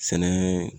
Sɛnɛ